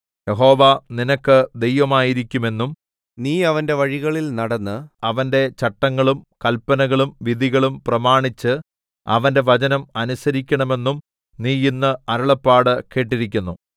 യഹോവ നിനക്ക് ദൈവമായിരിക്കുമെന്നും നീ അവന്റെ വഴികളിൽ നടന്ന് അവന്റെ ചട്ടങ്ങളും കല്പനകളും വിധികളും പ്രമാണിച്ച് അവന്റെ വചനം അനുസരിക്കണമെന്നും നീ ഇന്ന് അരുളപ്പാട് കേട്ടിരിക്കുന്നു